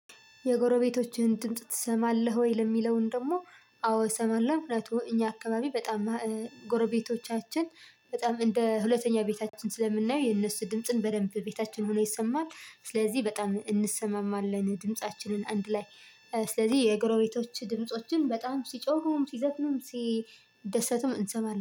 የጎረቤቶችህን ድምጽ ትሰማለህ ወይ? ለሚለውን ደግሞ አዎ እሰማለሁ ምክንያቱ እኛ አካባቢ በጣም ጎረቤቶቻችን በጣም እንደ ሁለተኛ ቤታችን ስለምናየው የነሱ ድምጽን በደንብ ቤታችን ሆኖ ይሰማል። ስለዚህ በጣም እንሰማማለን ድምፃችንን አንድ ላይ። ስለዚህ የጎረቤቶች ድምፆችን በጣም ሲጮሁም ሲዘፍኑም ሲደሰቱም እንሰማለን